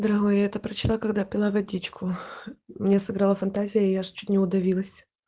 дорогой я это прочла когда пила водичку мне сыграла фантазии я аж чуть не удавилась